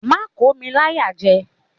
Má kò mi láyàjẹ!